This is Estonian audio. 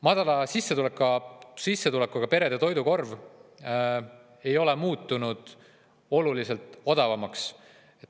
Madala sissetulekuga perede toidukorv ei ole muutunud oluliselt odavamaks.